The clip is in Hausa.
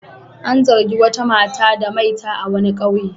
An zargi wata mata da maita a wani ƙauye.